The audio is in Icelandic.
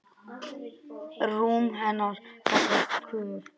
Rúm hennar kallast Kör.